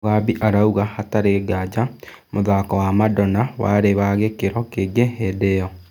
Mugambi arauga hatarĩ nganja mũthako wa Madona warĩ wa gĩkĩro kĩngĩ hĩndĩ ĩyo.